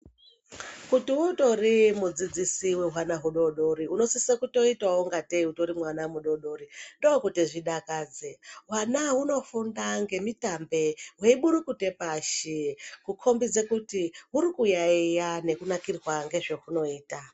Kuti utori mudzidzisi wehwana hudodori unosisa ngatei utoriwo mwana mudodori ndokuti zvidakadze hwana hunofunda nemitambe veiburukuta pashi kukombidza kuti huri kuyaiya nekunakirwa nezvaunoita.